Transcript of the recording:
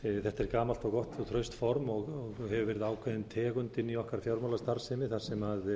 þetta er gamalt og gott og traust form og hefur verið ákveðin tegund inni í okkar fjármálastarfsemi þar sem